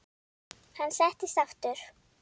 Hann settist aftur.